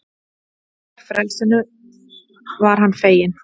En frelsinu var hann feginn.